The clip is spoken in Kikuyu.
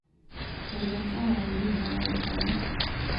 roria tawa wa nyũmba ya gũkoma